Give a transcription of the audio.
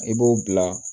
I b'o bila